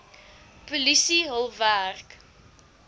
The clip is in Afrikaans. polisie hul werk